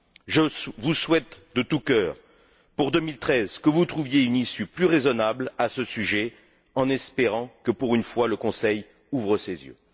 Je vous souhaite, de tout cœur, pour 2013, que vous trouviez une issue plus raisonnable à ce sujet, en espérant que, pour une fois, le Conseil ouvre ses yeux.